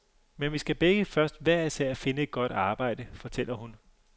Men vi skal begge først hver især finde et godt arbejde, fortæller hun.